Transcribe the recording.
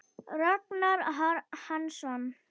Ragnar Hansson